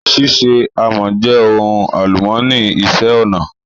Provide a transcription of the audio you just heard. Ṣíṣe àmọ́ jẹ́ ohun àlùmọ́nì ìṣe-ọnà